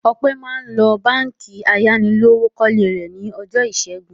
Ọpẹ́ máa ń lọ Báńkì ayánilówókọ́lé rẹ̀ ní ọjọ́ ìṣẹ́gun.